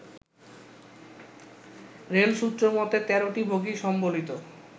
রেলসূত্রমতে ১৩টি বগি সম্বলিত